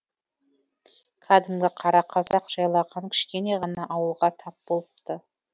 кәдімгі қара қазақ жайлаған кішкене ғана ауылға тап болыпты